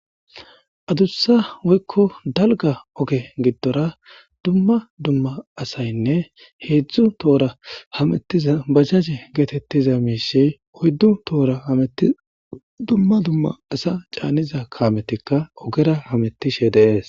adussa woykko dalga oge giddora dumma dumma asaynne heedzdzu toora hamettiza bajaje geetettiza miishey oyddu toora kameti dumma dumma asa caaniza kaametikka ogera hamettishe de'ees